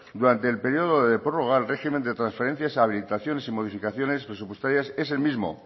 durante el periodo de prórroga el régimen de transferencias habilitaciones y modificaciones presupuestarias es el mismo